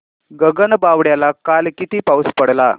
गगनबावड्याला काल किती पाऊस पडला